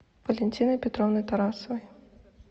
валентиной петровной тарасовой